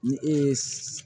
Ni e ye